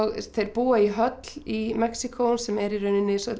þeir búa í höll í Mexíkó sem er í rauninni